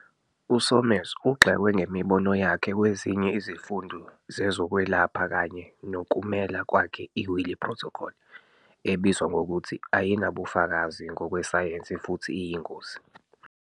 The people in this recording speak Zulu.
USomers ugxekwe ngemibono yakhe kwezinye izifundo zezokwelapha kanye nokumela kwakhe i- Wiley Protocol, ebizwa ngokuthi "ayinabufakazi ngokwesayensi futhi iyingozi".